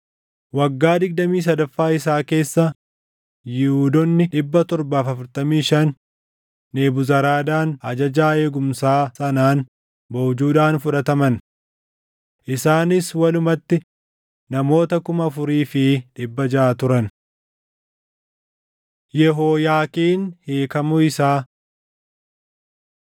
waggaa digdamii sadaffaa isaa keessa Yihuudoonni 745, Nebuzaradaan ajajaa eegumsaa sanaan boojuudhaan fudhataman. Isaanis walumatti namoota 4,600 turan. Yehooyaakiin Hiikamuu Isaa 52:31‑34 kwf – 2Mt 25:27‑30